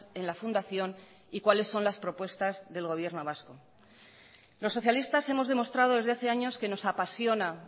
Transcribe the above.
en la fundación y cuáles son las propuestas del gobierno vasco los socialistas hemos demostrado desde hace años que nos apasiona